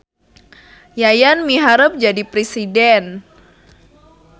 Yayan miharep jadi presiden